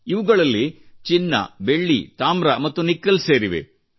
ಇವುಗಳಲ್ಲಿ ಚಿನ್ನ ಬೆಳ್ಳಿ ತಾಮ್ರ ಮತ್ತು ನಿಕ್ಕೆಲ್ ಸೇರಿವೆ